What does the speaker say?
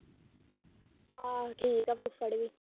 ਹਮ ਠੀਕ ਹੈ ਫੁਫੜ ਵੀ